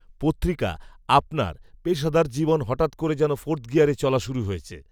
পত্রিকা, আপনার, পেশাদার জীবন, হঠাত্ করে যেন ফোর্থ গিয়ারে চলা শুরু হয়েছে